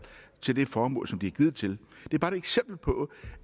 til det formål som de er givet til det er bare et eksempel på